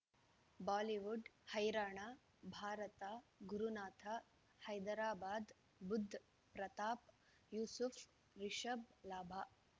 Bollywood ಹೈರಾಣ ಭಾರತ ಗುರುನಾಥ ಹೈದರಾಬಾದ್ ಬುಧ್ ಪ್ರತಾಪ್ ಯೂಸುಫ್ ರಿಷಬ್ ಲಾಭ